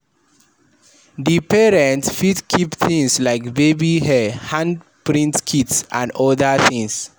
Di parent fit keep things like baby hair, hand print kits and oda things